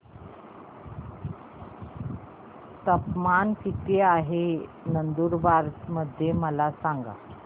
तापमान किता आहे नंदुरबार मध्ये मला सांगा